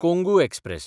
Kongu express